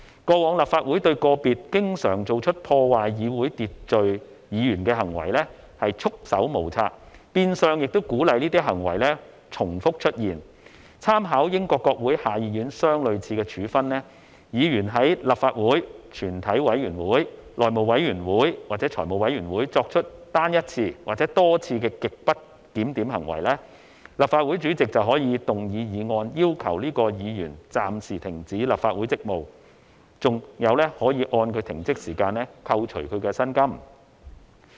過往立法會對個別經常做出破壞議會秩序的議員行為，束手無策，變相鼓勵這些行為重複出現，參考英國國會下議院相類似的處分，議員在立法會全體委員會、內會或財務委員會作出單一次或多次極不檢點行為，立法會主席便可以動議議案，要求該議員暫時停止立法會職務，更可按他的停職時間扣除其薪金。